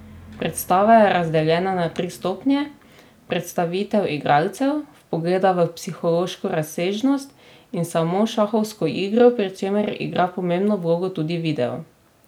Predstava je razdeljena na tri stopnje, predstavitev igralcev, vpogleda v psihološko razsežnost in samo šahovsko igro, pri čemer igra pomembno vlogo tudi video.